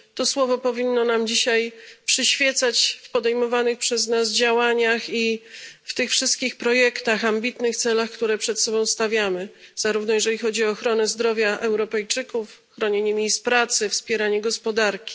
To słowo powinno nam dzisiaj przyświecać w podejmowanych przez nas działaniach i w tych wszystkich projektach, ambitnych celach, które przed sobą stawiamy, zarówno jeżeli chodzi o ochronę zdrowia Europejczyków, jak i bronienie miejsc pracy i wspieranie gospodarki.